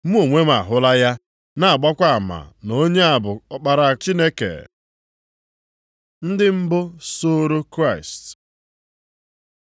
Mụ onwe m ahụla ya, na-agbakwa ama na onye a bụ Ọkpara Chineke.” + 1:34 Onye Chineke họọrọ. Ndị mbụ soro Kraịst